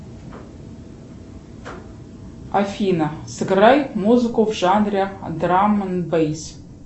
афина сыграй музыку в жанре драм энд бейс